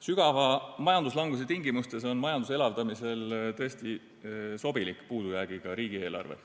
Sügava majanduslanguse tingimustes on majanduse elavdamisel tõesti sobilik puudujäägiga riigieelarve.